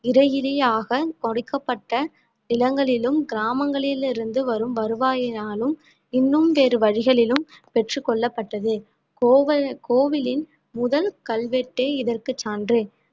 இறையிலியாகக் கொடுக்கப்பட்ட நிலங்களிலும் கிராமங்களிலிருந்து வரும் வருவாயினாலும் இன்னும் வேறு வழிகளிலும் பெற்றுக் கொள்ளப்பட்டது கோவி~ கோவிலின் முதல் கல்வெட்டே இதற்கு சான்று